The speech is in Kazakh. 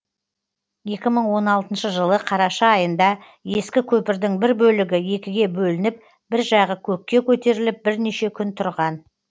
екі мың он алтыншы жылы қараша айында ескі көпірдің бір бөлігі екіге бөлініп бір жағы көкке көтеріліп бірнеше күн тұрған